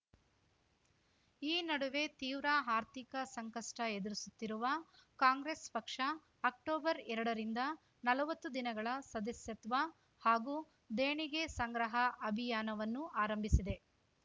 ಈ ನಡುವೆ ತೀವ್ರ ಆರ್ಥಿಕ ಸಂಕಷ್ಟಎದುರಿಸುತ್ತಿರುವ ಕಾಂಗ್ರೆಸ್‌ ಪಕ್ಷ ಅಕ್ಟೊಬರ್ಎರಡ ರಿಂದ ನಲವತ್ತು ದಿನಗಳ ಸದಸ್ಯತ್ವ ಹಾಗೂ ದೇಣಿಗೆ ಸಂಗ್ರಹ ಅಭಿಯಾನವನ್ನು ಆರಂಭಿಸಿದೆ